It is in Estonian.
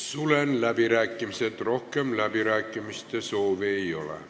Sulgen läbirääkimised, rohkem kõnesoovi ei ole.